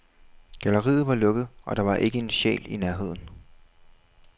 Galleriet var lukket, og der var ikke en sjæl i nærheden.